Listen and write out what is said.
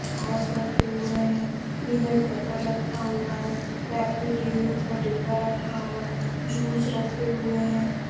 Sauce रखे हुए हैं पीनट बटर रखा हुआ है कैडबरी डैरी मिल्क का डिब्बा रखा हुआ है जूस रखे हुए हैं।